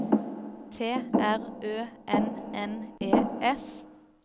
T R Ø N N E S